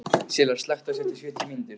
Silla, slökktu á þessu eftir sjötíu mínútur.